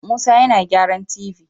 Musa yana gyaran tv